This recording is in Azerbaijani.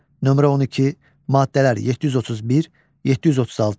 Nömrə 12, maddələr 731, 736.